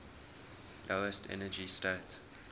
lowest energy state